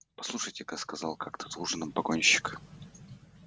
послушайте-ка сказал как то за ужином погонщик